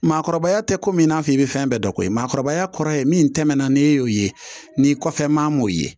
Maakɔrɔbaya tɛ komi i n'a fɔ i bɛ fɛn bɛɛ dɔn koyi maakɔrɔbaya kɔrɔ ye min tɛmɛna n'e y'o ye n'i kɔfɛ maa m'o ye